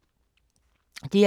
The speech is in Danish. DR2